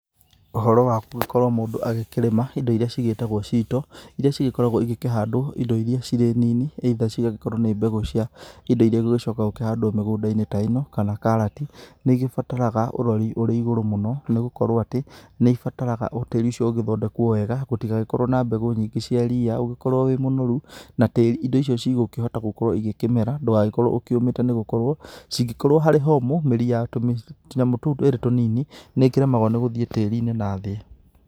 Ũhoro wa gũgĩkorwo Mũndũ agĩkĩrĩma, indo iria cĩgitagwo cito, iria cigĩkoragwo igĩkĩhandwo indo iria cirĩ nini either cigagĩkorwo nĩ mbegũ cia indo iria igũgĩcoka gũkĩhandwo mĩgũndainĩ ta ĩno, kana karati. Nĩ igĩbataraga ũrori ũrĩ igũrũ mũno, nĩgũkorwo atĩ, nĩ ibataraga tĩri ũcio ũgĩthondekwo wega, gũtigagĩkorwo na mbegũ nyingĩ cia ria, ũgĩkorwo wĩ mũnoru, na tĩri indo icio cĩgũkĩhota gũkorwo igĩkĩmera. Ndũgagĩkorwo ũkĩũmĩte nĩgũkorwo, cingĩkorwo harĩ homũ, mĩri ya tũmĩ, tunyamũ tũu tũrĩ tũnini, nĩkĩremagwo nĩgũthiĩ tĩrinĩ nathĩ.